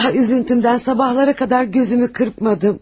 Ah, üzüntümdən sabahlaracan gözümü qırpmadım.